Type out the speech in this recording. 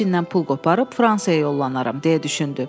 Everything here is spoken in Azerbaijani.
Ficindən pul qoparıb Fransaya yollanaram, deyə düşündü.